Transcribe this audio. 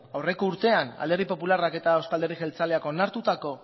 aurreko urtean alderdi popularrak eta euzko alderdi jeltzaleak